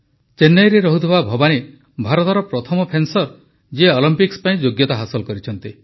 ଚେନ୍ନାଇରେ ରହୁଥିବା ଭବାନୀ ଭାରତର ପ୍ରଥମ ଫେନ୍ସର ଯିଏ ଅଲମ୍ପିକ୍ସ ପାଇଁ ଯୋଗ୍ୟତା ହାସଲ କରିଛନ୍ତି